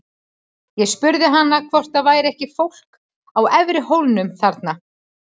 Ég spurði hana hvort það væri ekki fólk í efri hólnum þarna.